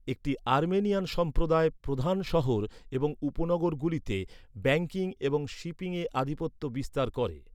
একটি আর্মেনিয়ান সম্প্রদায় প্রধান শহর এবং উপনগরগুলিতে ব্যাঙ্কিং এবং শিপিংয়ে আধিপত্য বিস্তার করে।